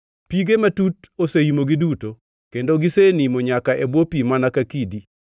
Pige matut oseimogi duto, kendo gisenimo nyaka e bwo pi mana ka kidi.